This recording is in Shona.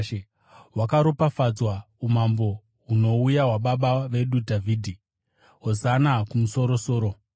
“Hwakaropafadzwa umambo hunouya, hwababa vedu Dhavhidhi!” “Hosana kumusoro-soro!”